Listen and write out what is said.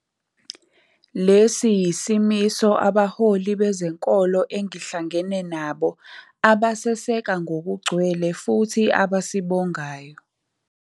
Lesi yisimiso abaholi be zenkolo engihlangene nabo abaseseka ngokugcwele futhi abasibongayo.